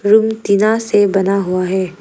Room टीना से बना हुआ है।